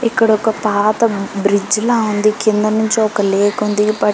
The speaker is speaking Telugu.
ఇక్కడ ఒక పాత బ్రిడ్జిలా ఉంది కిందనుంచి ఒక లేక్ ఉంది--